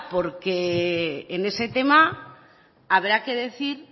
porque en ese tema habrá que decir